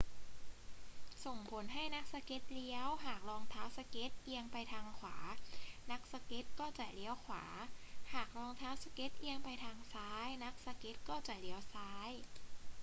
ส่งผลให้นักสเก็ตเลี้ยว หากรองเท้าสเก็ตเอียงไปด้านขวา นักสเก็ตก็จะเลี้ยวขวา หากรองเท้าสเก็ตเอียงไปทางซ้าย นักสเก็ตก็จะเลี้ยวซ้าย